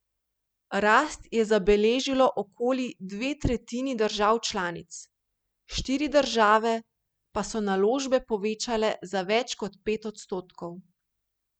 Rast je zabeležilo okoli dve tretjini držav članic, štiri države pa so naložbe povečale za več kot pet odstotkov.